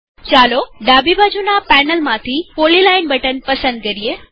ચાલો ડાબી બાજુના પેનલમાંથી પોલીલાઈન બટન પસંદ કરીએ